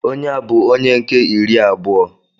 Onye a bụ onye nke iri abụọ.